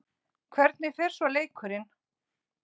Hvernig fer svo leikurinn?